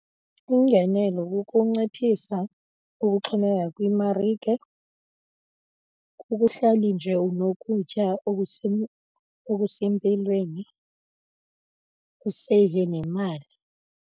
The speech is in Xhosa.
Ingenelo kukunciphisa ukuxhomekeka kwimarike, kukuhleli nje unokutya okusempilweni useyive nemali.